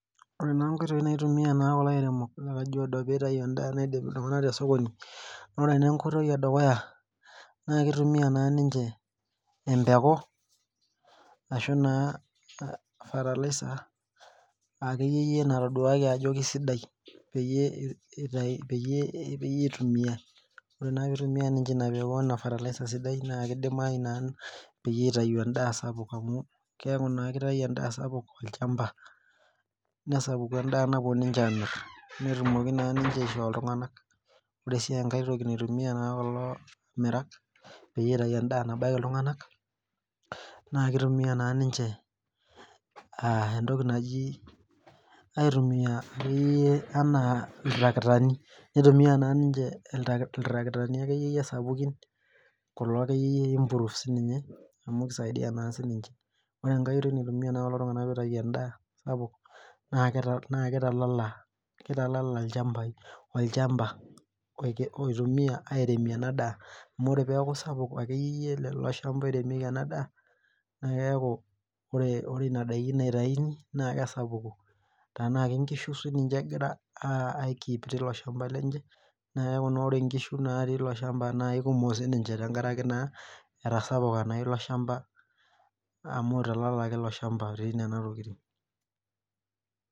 Ore naa nkoitoi naitumia naa kulo airemok le Kajiado pitayu endaa nabaiki iltung'anak tesokoni, nore nenkoitoi edukuya naa kitumia naa ninche empeku ashu naa fertiliser akeyieyie natoduaki ajo kesidai peyie itumiai. Ore naa pitumia ninche ina peku fertiliser sidai na kidimayu naa peyie itayu endaa sapuk amu keeku naa kitayu endaa sapuk tolchamba. Nesapuku endaa napuo ninche amir. Netumoki naa ninche asihoo iltung'anak. Ore si enkae toki naitumia naa kulo amirak, peyie itayu endaa nabaiki iltung'anak, naa kitumia naa ninche entoki naji aitumia akeyie enaa iltarakitani. Nitumia naa ninche iltarakitani akeyieyie sapukin kulo akeyieyie improve sininche, amu kisaidia naa sininche. Ore enkoi oitoi naitumia naa kulo tung'anak pitayu endaa sapuk, naa kitalala olchambai. Olchamba oitumia aremie enadaa. Amu ore peeku sapuk akeyieyie lelo shamba oiremieki enadaa, na keeku ore nena daiki naitayuni, naa kesapuk. Tenaa ke nkishu sininche egira ai keep tilo shamba lenche, na keeku naa ore nkishu natii ilo shamba naa aikumok sininche tenkaraki naa, etasapuka naa ilo shamba amu italalaki ilo shamba etii nena tokiting.